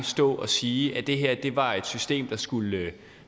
stå og sige at det her var et system der skulle virke